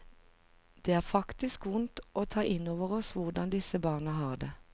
Det er faktisk vondt å ta innover oss hvordan disse barna har det.